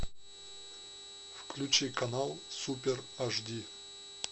включи канал супер аш ди